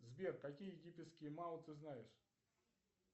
сбер какие египетские мау ты знаешь